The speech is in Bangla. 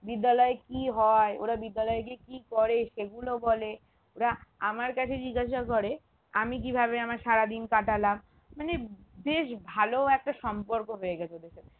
বিদ্যালয়ে কি হয় ওরা বিদ্যালয়ে গিয়ে কি করে সেগুলো বলে ওরা আমার কাছে জিজ্ঞাসা করে আমি কিভাবে আমার সারা দিন কাটালাম মানে বেশ ভালো একটা সম্পর্ক হয়ে গেছে ওদের সাথে